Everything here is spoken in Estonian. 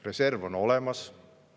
Reserv on olemas.